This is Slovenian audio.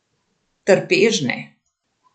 Trpežne.